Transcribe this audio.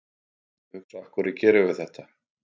Ég hugsaði, af hverju gerum við þetta?